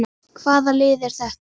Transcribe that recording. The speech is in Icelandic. Hvaða lið er þetta?